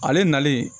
Ale nalen